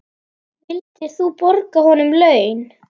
Vildir þú borga honum laun?